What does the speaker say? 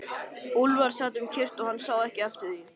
Úlfar sat um kyrrt og hann sá ekki eftir því.